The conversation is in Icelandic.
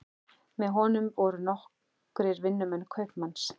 Með honum voru nokkrir vinnumenn kaupmanns.